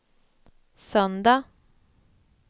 söndag